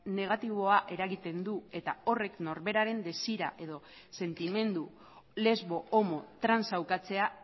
negatiboa eragiten du eta horrek norberaren desira edo sentimendu lesbo homo trans a ukatzea